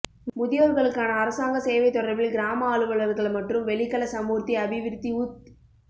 முதியோர்களுக்கான அரசாங்க சேவை தொடர்பில் கிராம அலுவலகர்கள் மற்றும் வெளிக்கள சமூர்த்தி அபிவிருத்தி உத்